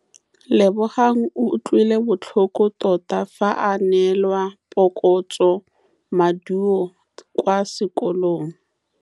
Lebogang o utlwile botlhoko tota fa a neelwa phokotsômaduô kwa sekolong.